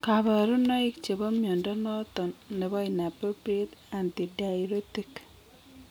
Kabarunaik chebo mnyondo noton nebo inappropriate antidiuretic